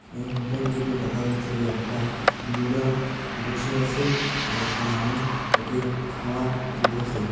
এই হোটেলটিতে দেখা যাচ্ছে যে একটা বুড়া বসে আসে আর একটা মানুষ ওকে খাওয়ার দিতাসে।